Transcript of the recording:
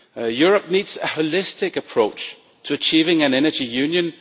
Europe needs a holistic approach to achieving an energy union.